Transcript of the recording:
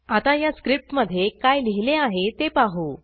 आता या स्क्रिप्टमधे काय लिहिले आहे ते पाहू